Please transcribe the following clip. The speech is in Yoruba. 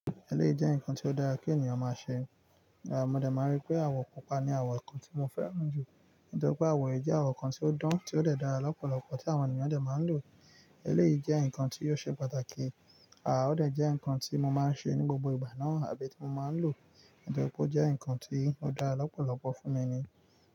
Eléyìí jẹ́ nǹkan tí ó dára kí ènìyàn máa ṣe. Mo dé máa rí pé àwọ̀ pupa ni àwọ̀ kan tí wọ́n fẹ́ràn jù. Nítorí pé àwọ̀ yi jẹ́ àwọ̀ kan tí ó dán, tí ó dàra lọ́pọ̀lọpọ̀ tí àwọn ènìyàn ó dé máa ń lò. Eléyìí jẹ́ nǹkan tí yóò ṣe pàtàkì. À ó dé jẹ́ nǹkan tí mo máa ń ṣe ní gbogbo ìgbà náà àbí tí mo máa ń lò. Nítorí pé ó jẹ́ nǹkan tí ó dára lọ́pọ̀lọpọ̀ fún mi ni.